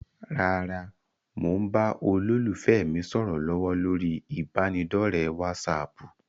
Rárá, mo ń bá olólùfẹ́ mi sọ̀rọ̀ lọ́wọ́ lórí ibanidọ̀rẹ́ "wásààpù".